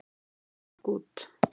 Gekk út!